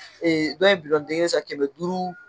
dɔ in den kelen san kɛmɛ duuru